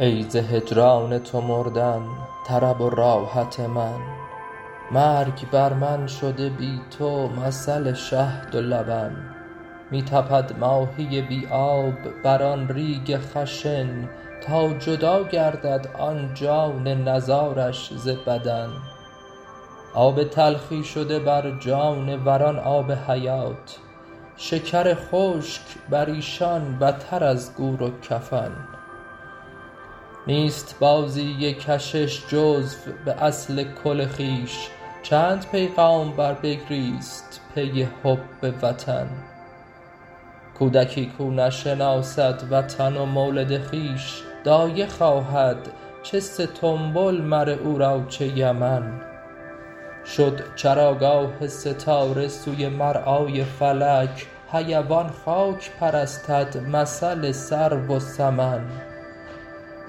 ای ز هجران تو مردن طرب و راحت من مرگ بر من شده بی تو مثل شهد و لبن می تپد ماهی بی آب بر آن ریگ خشن تا جدا گردد آن جان نزارش ز بدن آب تلخی شده بر جانوران آب حیات شکر خشک بر ایشان بتر از گور و کفن نیست بازی کشش جزو به اصل کل خویش چند پیغامبر بگریست پی حب وطن کودکی کاو نشناسد وطن و مولد خویش دایه خواهد چه ستنبول مر او را چه یمن شد چراگاه ستاره سوی مرعای فلک حیوان خاک پرستد مثل سرو و سمن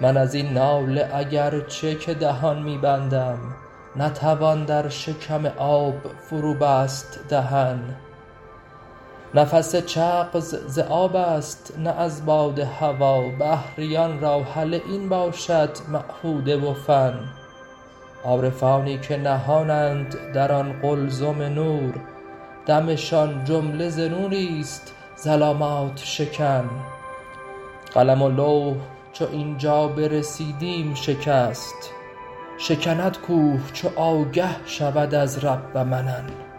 من از این ناله اگر چه که دهان می بندم نتوان در شکم آب فروبست دهن نفس چغز ز آب است نه از باد هوا بحریان را هله این باشد معهوده و فن عارفانی که نهانند در آن قلزم نور دمشان جمله ز نوری است ظلامات شکن قلم و لوح چو این جا برسیدیم شکست شکند کوه چو آگه شود از رب منن